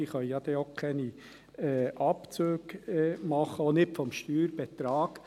Diese können ja dann auch keine Abzüge machen, auch nicht vom Steuerbetrag.